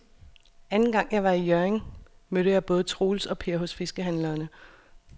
Anden gang jeg var i Hjørring, mødte jeg både Troels og Per hos fiskehandlerne.